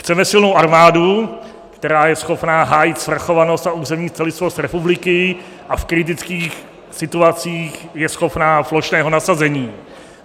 Chceme silnou armádu, která je schopna hájit svrchovanost a územní celistvost republiky a v kritických situacích je schopna plošného nasazení.